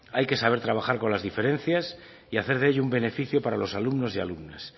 hay que saber trabajar con las diferencias y hacer de ello un beneficio para los alumnos y alumnas